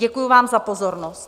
Děkuji vám za pozornost.